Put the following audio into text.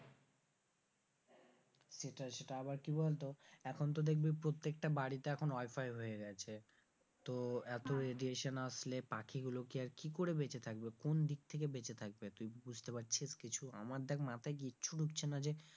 সেটাই সেটাই আবার কি বলতো এখন তো দেখবি প্রত্যেকটা বাড়িতে এখন wifi হয়ে গেছে তো এত radiation আসলে পাখি গুলো আর কি করে বেচেঁ থাকবে কোন দিক থেকে বেঁচে থাকবে তুই বুঝতে পারছিস কিছু? আমার দেখ মাথায় কিছু ঢুকছে না যে,